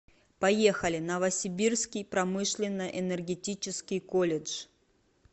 поехали новосибирский промышленно энергетический колледж